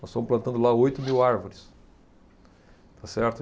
Nós estamos plantando lá oito mil árvores, está certo